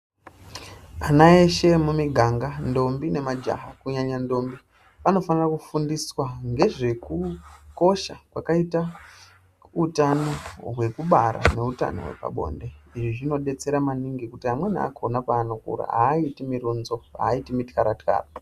Ana eshe emuganga ndombi nemajaha kunyanya ndombi vanofano kufundiswa ngezvekukosha kwakaita utano hwekubara neutano wepabonde. Izvi zvinodetsera maningi kuti amweni akhona panokura aiti murunzo aiti mutyaratyara.